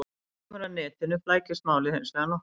Þegar kemur að netinu flækist málið hins vegar nokkuð.